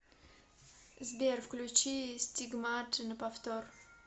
сбер включи стигмата на повтор